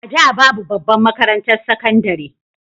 A da babu babbar makarantar sakandare